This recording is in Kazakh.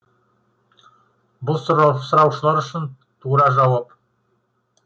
бұл сұраушылар үшін тура жауап